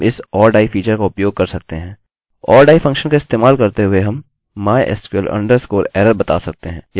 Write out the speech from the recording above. or die function का इस्तेमाल करते हुए हम mysql_error बता सकते हैं यदि यह नहीं दिखता है या इस तरह कुछ भी